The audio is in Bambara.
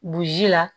Burusi la